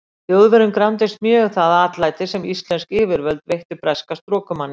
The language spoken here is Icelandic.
Þjóðverjum gramdist mjög það atlæti, sem íslensk yfirvöld veittu breska strokumanninum.